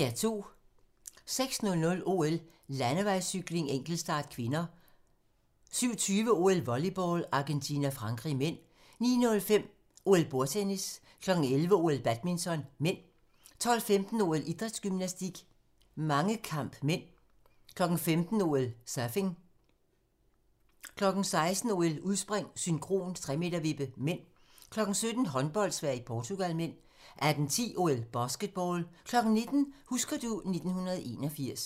06:00: OL: Landevejscykling, enkeltstart (k) 07:20: OL: Volleyball - Argentina-Frankrig (m) 09:05: OL: Bordtennis 11:00: OL: Badminton (m) 12:15: OL: Idrætsgymnastik, mangekamp (m) 15:00: OL: Surfing 16:00: OL: Udspring, synkron 3-m-vippe (m) 17:00: Håndbold: Sverige-Portugal (m) 18:10: OL: Basketball 19:00: Husker du ... 1981